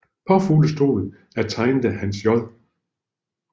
Påfuglestolen er tegnet af Hans J